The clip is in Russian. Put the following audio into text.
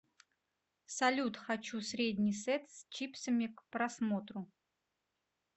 салют хочу средний сет с чипсами к просмотру